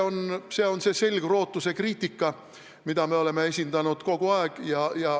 See on see selgrootuse kriitika, mida me oleme kogu aeg esindanud.